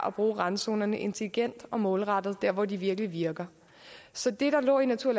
at bruge randzonerne intelligent og målrettet der hvor de virkelig virker så det der lå i natur